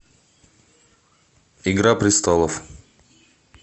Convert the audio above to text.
игра престолов